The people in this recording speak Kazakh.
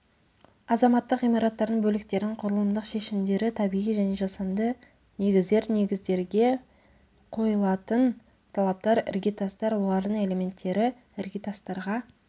азаматтық ғимараттардың бөліктерін құрылымдық шешімдері табиғи және жасанды негіздер негіздерге қойылатын талаптар іргетастар олардың элементтері іргетастарға